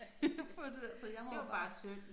Det er jo bare synd